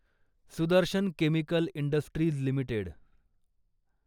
Sudarshan chemical industries limited